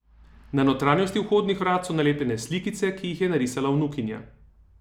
Na notranjosti vhodnih vrat so nalepljene slikice, ki jih je narisala vnukinja.